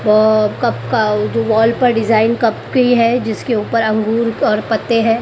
व कब का वो जो वॉल पर डिजाइन कब की है जिसके ऊपर अंगूर और पत्ते हैं।